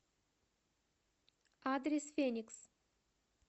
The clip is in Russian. адрес феникс